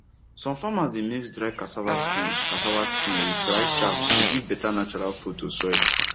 some farmers dey mix dry cassava skin cassava skin with rice chaff to give better natural food to soil